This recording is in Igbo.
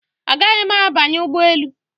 Agaghị m abanye ụgbọ elu